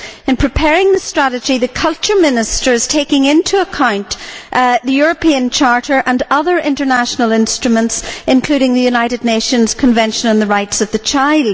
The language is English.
In preparing this strategy, the Culture Minister is taking into account the European Charter and other international instruments, including the United Nations Convention on the Rights of the Child.